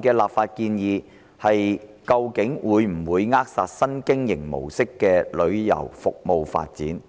的立法建議會否扼殺新經營模式的旅遊服務發展？